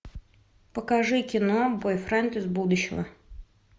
покажи кино бойфренд из будущего